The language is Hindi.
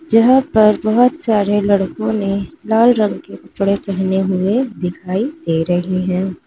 जहां पर बहोत सारे लड़कों ने लाल रंग के कपड़े पहने हुए दिखाई दे रहे हैं।